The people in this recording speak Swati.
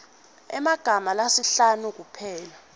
emagama lasihlanu kuphela